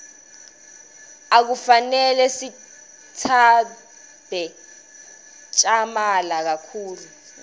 akufanele sitsabze tjamala kakhulu